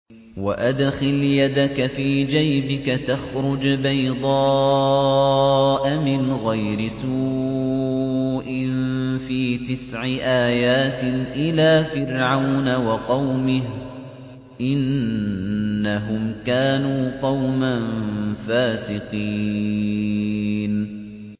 وَأَدْخِلْ يَدَكَ فِي جَيْبِكَ تَخْرُجْ بَيْضَاءَ مِنْ غَيْرِ سُوءٍ ۖ فِي تِسْعِ آيَاتٍ إِلَىٰ فِرْعَوْنَ وَقَوْمِهِ ۚ إِنَّهُمْ كَانُوا قَوْمًا فَاسِقِينَ